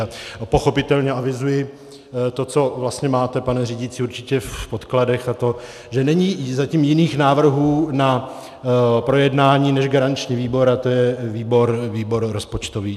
A pochopitelně avizuji, to, co vlastně máte, pane řídící, určitě v podkladech, a to že není zatím jiných návrhů na projednání než garanční výbor, a to je výbor rozpočtový.